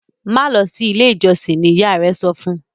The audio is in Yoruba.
ma lọ sí ilé ìjósìn! ní ìyá rẹ sọfún.